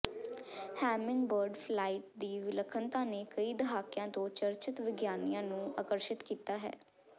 hummingbird flight ਦੀ ਵਿਲੱਖਣਤਾ ਨੇ ਕਈ ਦਹਾਕਿਆਂ ਤੋਂ ਚਰਚਿਤ ਵਿਗਿਆਨੀਆਂ ਨੂੰ ਆਕਰਸ਼ਿਤ ਕੀਤਾ ਹੈ